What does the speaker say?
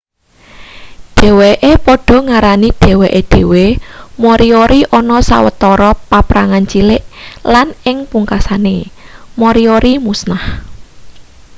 dheweke padha ngarani dheweke dhewe moriori ana sawetara paprangan cilik lan ing pungkasane moriori musnah